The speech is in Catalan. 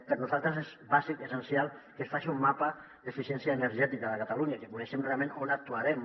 per nosaltres és bàsic i essencial que es faci un mapa d’eficiència energètica de catalunya que coneguem realment on actuarem